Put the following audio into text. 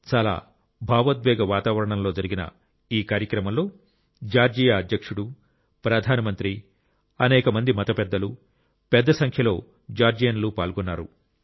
చాలా భావోద్వేగ వాతావరణంలో జరిగిన ఈ కార్యక్రమంలో జార్జియా అధ్యక్షుడు ప్రధానమంత్రి అనేక మంది మత పెద్దలు పెద్ద సంఖ్యలో జార్జియన్లు పాల్గొన్నారు